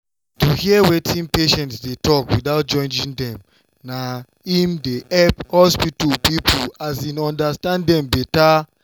to hear wetin patients dey talk without judging dem na im dey help hospital people um understand dem better.